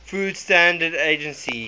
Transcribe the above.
food standards agency